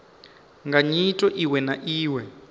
nga nyito iwe na iwe